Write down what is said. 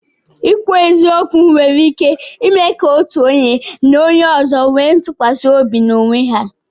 Ikwu eziokwu nwere ike ime ka otu onye na onye ọzọ nwee ntụkwasị obi n'onwe ha.